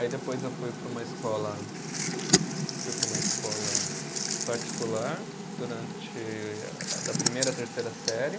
Aí depois eu fui para uma escola, fui para uma escola particular, durante, da primeira à terceira série.